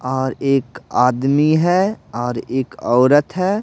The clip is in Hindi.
और एक आदमी है और एक औरत है।